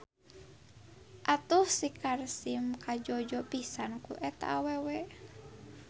Atuh si Sarkim kajojo pisan ku eta awewe.